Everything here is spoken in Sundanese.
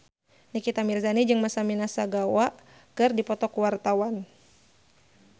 Nikita Mirzani jeung Masami Nagasawa keur dipoto ku wartawan